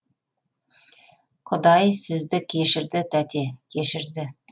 құдай сізді кешірді тәте кешірді